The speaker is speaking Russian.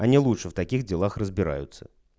они лучше в таких делах разбираются